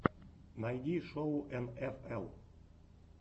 найди шоу эн эф эл